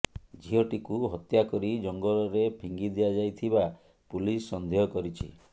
ଝିଅଟିକୁ ହତ୍ୟାକରି ଜଙ୍ଗଲରେ ଫିଙ୍ଗି ଦିଆଯାଇଥିବା ପୁଲିସ୍ ସନ୍ଦେହ କରିଛି